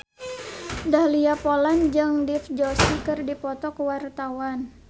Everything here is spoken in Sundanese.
Dahlia Poland jeung Dev Joshi keur dipoto ku wartawan